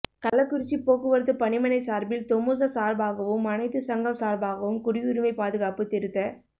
கள்ளக்குறிச்சி போக்குவரத்து பனிமணை சாா்பில் தொமுச சாா்பாகவும் அனைத்து சங்கம் சாா்பாகவும் குடியுரிமை பாதுகாப்பு திருத்த